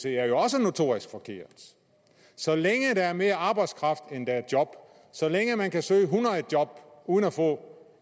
er jo også notorisk forkert så længe der er mere arbejdskraft end der er job så længe man kan søge hundrede job uden at få